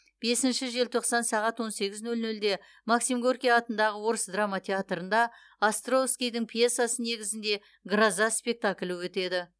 бесінші желтоқсан сағат он сегіз нөл нөлде максим горький атындағы орыс драма театрында островскийдің пьесасы негізінде гроза спектаклі өтеді